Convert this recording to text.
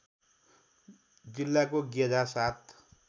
जिल्लाको गेझा ७